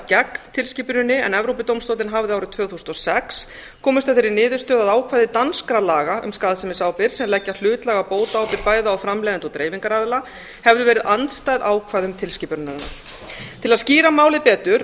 gegn tilskipuninni en evrópudómstóllinn hafði árið tvö þúsund og sex komist að þeirri niðurstöðu að ákvæði danskra laga um skaðsemisábyrgð sem leggja hlutlæga bótaábyrgð bæði á framleiðanda og dreifingaraðila hefðu verið andstæð ákvæðum tilskipunarinnar til að skýra málið betur